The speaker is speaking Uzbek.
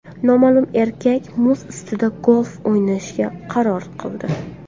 Noma’lum erkak muz ustida golf o‘ynashga qaror qildi.